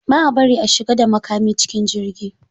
Ba a bari a shiga da makami cikin jirgi.